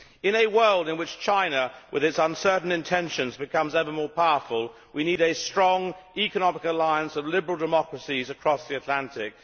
In a world in which China, with its uncertain intentions, becomes ever more powerful, we need a strong economic alliance of liberal democracies across the Atlantic.